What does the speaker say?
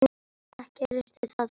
Ekki risti það djúpt.